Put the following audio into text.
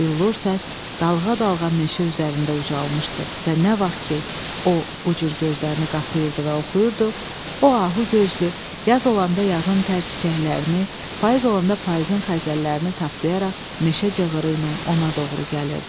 Billur səs dalğa-dalğa meşə üzərində ucalmışdı və nə vaxt ki, o bu cür gözlərini qapayırdı və oxuyurdu, o ahu gözlü yaz olanda yazın tər çiçəklərini, payız olanda payızın xəzəllərini taplayaraq meşə cığırı ilə ona doğru gəlirdi.